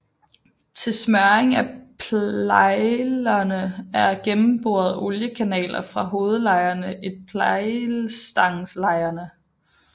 Til smøring af plejllejerne er der gennemboret oliekanaler fra hovedlejerne til plejlstangslejerne